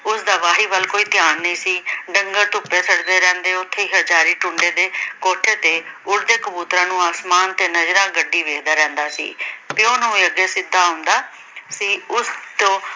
ਉਸ ਦਾ ਵਾਹੀ ਵੱਲ ਕੋਈ ਧਿਆਨ ਨਹੀਂ ਸੀ। ਡੰਗਰ ਧੁੱਪੇ ਫਿਰਦੇ ਰਹਿੰਦੇ। ਉਥੇ ਹੀ ਹਰਜਾਰੀ ਟੁੰਡੇ ਦੇ ਕੋਠੇ ਤੇ ਉੱਡਦੇ ਕਬੂਤਰਾਂ ਨੂੰ ਅਸਮਾਨ ਤੇ ਨਜ਼ਰਾ ਗੱਢੀ ਵੇਖਦਾ ਰਹਿੰਦਾ ਸੀ ਤੇ ਉਹਨੂੰ ਵੀ ਅਗੇ ਸਿੱਧਾ ਆਉਂਦਾ ਸੀ। ਉਸਤੋਂ